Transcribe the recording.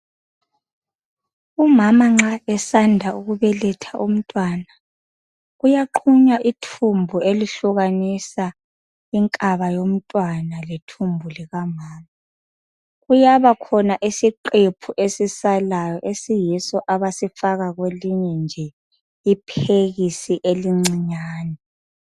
umama nxa esanda ukubeletha umntwana uyaqunywa ithumbu elihlukanisa inkaba yomntwana lethumbu likamama kuyabakhona isiqephu esisalayo esiyiso abasifaka kwelinye nje iphekisi elincinyane